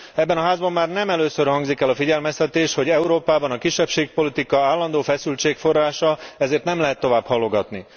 Ebben a Házban már nem először hangzik el a figyelmeztetés, hogy Európában a kisebbségpolitika állandó feszültség forrása, ezért nem lehet tovább halogatni.